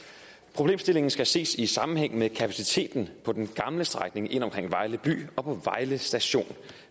problemstillingen skal ses i sammenhæng med kapaciteten på den gamle strækning ind omkring vejle by og på vejle station